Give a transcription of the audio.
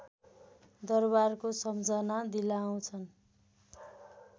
दरवारको सम्झना दिलाउँछन्